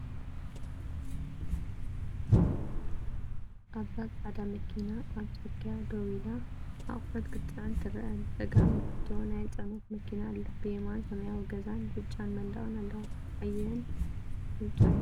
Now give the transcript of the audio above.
ኣብዚ ጻዕዳ መኪና ኣብ ጽርግያ ደው ኢላ ኣቑሑት ክትጽዕን ትረአ፤ ብጸጋም ንእሽቶ ናይ ጽዕነት መኪና ኣላ፤ ብየማን ሰማያዊ ገዛን ብጫ መንደቕን ኣለዋ። ኣየር ንጹር እዩ።